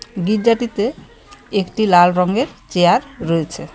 গির্জাটিতে একটি লাল রঙের চেয়ার রয়েছে.